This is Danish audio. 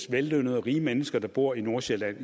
vellønnede og rige mennesker der især bor i nordsjælland